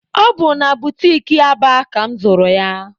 Ọ bụ na butiki Aba ka mụ zụrụ ya.